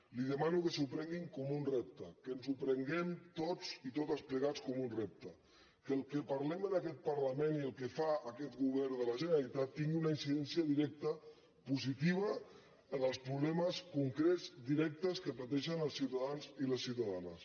li demano que s’ho prenguin com un repte que ens ho prenguem tots i totes plegats com un repte que el que parlem en aquest parlament i el que fa aquest govern de la generalitat tingui una incidència directa positiva en els problemes concrets directes que pateixen els ciutadans i les ciutadanes